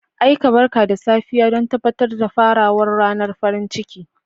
Aika barka da safiya don tabbatar da farawar ranar farin ciki.